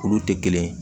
Olu tɛ kelen ye